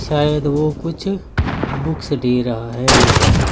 शायद वो कुछ बुक्स दे रहा है यहां से।